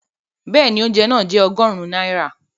Bẹ́ẹ̀ni, oúnjẹ náà jẹ́ ọgọ́rùn-ún náírà